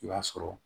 I b'a sɔrɔ